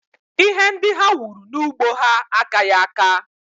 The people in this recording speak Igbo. Ihe ndị ha wuru n'ugbo ha akaghị aka